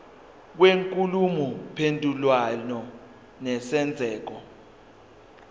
kwenkulumo mpendulwano nesenzeko